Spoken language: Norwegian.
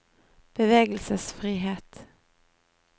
bevegelsesfrihet